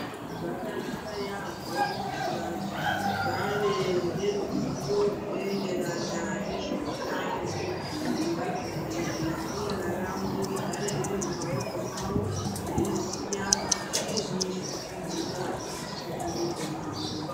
Zvakanaka yaambo kuti vantu vave neruzivo rwunoenderana nezvehutano kuitira kuti ramangwana ravo rigare riri mumwaoko mwawo veiziya kuti zvinyi zviri kuitika mwukati mwemuviri mwavo